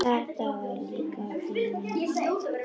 En þetta var líka bilun.